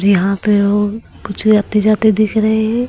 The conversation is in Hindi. यहां पे लोग कुछ आते जाते दिख रहे हैं।